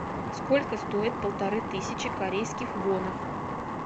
сколько стоит полторы тысячи корейских вонов